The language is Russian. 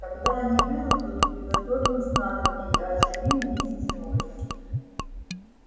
когда они вырастут приготовим снадобье и оживим миссис норрис